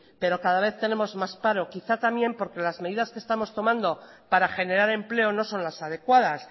pero cada vez tenemos más paro quizá también porque las medidas que estamos tomando para generar empleo no son las adecuadas